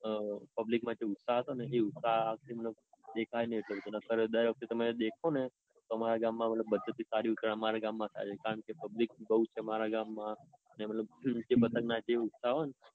તો public માં જે ઉત્સાહો હતો ને એ ઉત્સાહ આ વખતે દેખાય નઈ એટલો બધો નાઇટર દેખો ને તમે દર વખતે અમારા ગામ માં public બૌ છે અમર ગામ માં. ને મતલબ પતંગ ના જે ઉત્સાહ હોય ને.